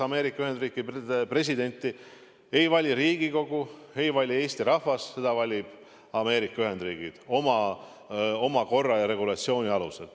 Ameerika Ühendriikide presidenti ei vali Riigikogu, ei vali Eesti rahvas, teda valivad Ameerika Ühendriigid oma korra ja regulatsiooni alusel.